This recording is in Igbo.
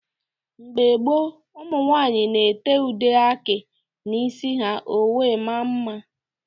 Mgbe gboo, ụmụ nwaanyị na-ete ude aki n'isi ha ọ wee mmaa mma.